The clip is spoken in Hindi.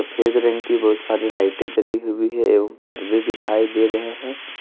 फेज रंग की बहुत सारी लाइटें जली हुई है एवं पर्दे दिखाई दे रहे हैं।